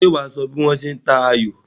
Ṣé wà á sọ bí wọ́n ṣe ń ta ayò?